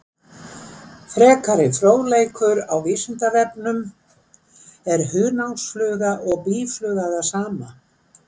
Frekari fróðleikur á Vísindavefnum: Er hunangsfluga og býfluga það sama?